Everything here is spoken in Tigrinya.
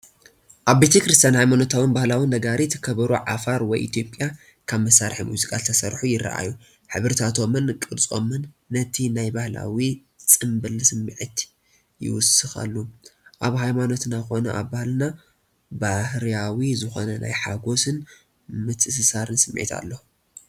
ኣብ ቤተ- ክርስትያን ሃየማኖታውን ባህላዊ ነጋሪት፣ ከበሮ ዓፋር ወይ ኢትዮጵያ (ካብ መሳርሒ ሙዚቃ ዝተሰርሑ) ይረአዩ። ሕብርታቶምን ቅርጾምን ነቲ ናይ ባህላዊ ጽምብል ስምዒት ይውስኸሉ። ኣብ ሃይማኖትና ኮነ ኣብ ባህልና ባህርያዊ ዝኾነ ናይ ሓጎስን ምትእስሳርን ስምዒት ኣሎ።